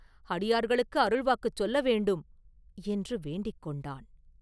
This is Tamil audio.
அடியார்களுக்கு அருள்வாக்குச் சொல்ல வேண்டும்!” என்று வேண்டிக் கொண்டான்.